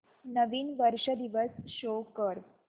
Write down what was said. नवीन वर्ष दिवस शो कर